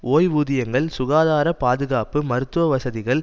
ஓய்வூதியங்கள் சுகாதார பாதுகாப்பு மருத்துவவசதிகள்